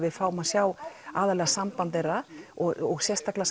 við fáum að sjá aðallega samband þeirra og sérstaklega